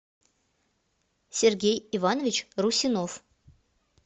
сергей иванович русинов